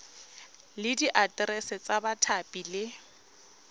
le diaterese tsa bathapi le